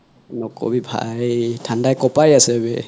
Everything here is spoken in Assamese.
নকবি ভাই থান্দাই কপাই আছে বে